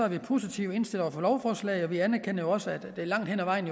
vi positivt indstillet over for lovforslaget og vi anerkender jo også at det langt hen ad vejen